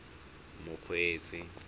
mokgweetsi